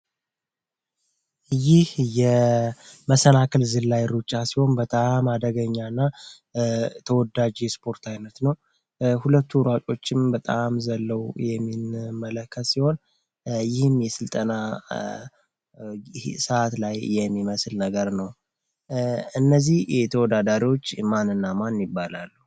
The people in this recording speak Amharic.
ይህ የመሰናክል ዝላይ ሩጫ ሲሆን አደገኛና ተወዳጅ የስፖርት ዓይነት ነው ሁለቱ ሯጮች በጣም የምንመለከት ሲሆን ይህም የስልጠና ስርዓት ላይ የሚመስል ነገር ነው። እነዚህ ተወዳዳሪዎች ማን እና ማን ይባላሉ?